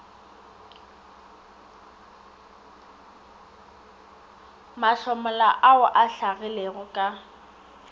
mahlomola ao a hlagilego ka